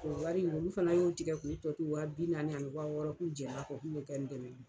O wari olu fana y'o tigɛ ko tɔ to wa bi naani ani wa wɔɔrɔ k'u jɛna ko k'u bɛ ka n dɛmɛ.